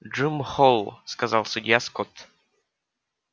джим холл сказал судья скотт